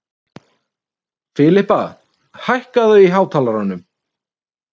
Filippa, hækkaðu í hátalaranum.